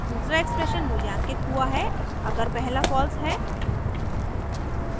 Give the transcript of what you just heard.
दूसरा एक्सप्रेशन मूल्यांकित हुआ है अगर पहला फॉल्स है